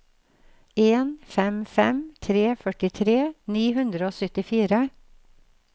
en fem fem tre førtitre ni hundre og syttifire